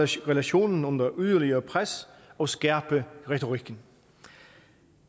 sætte relationen under yderligere pres og skærpe retorikken